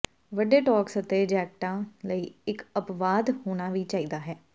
ਵੱਡੇ ਟੌਕਸ ਅਤੇ ਜੈਕਟਾਂ ਲਈ ਇਕ ਅਪਵਾਦ ਹੋਣਾ ਚਾਹੀਦਾ ਹੈ